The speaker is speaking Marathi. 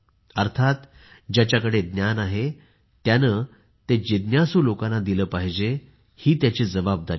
अर्थात ज्याच्याकडे ज्ञान आहे त्याने ते जिज्ञासू लोकांना दिले पाहिजे ही त्याची जबाबदारी आहे